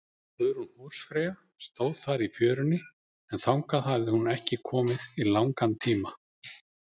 Guðrún húsfreyja stóð þar í fjörunni, en þangað hafði hún ekki komið í langan tíma.